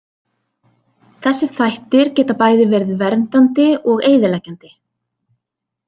Þessir þættir geta bæði verið verið verndandi og eyðileggjandi.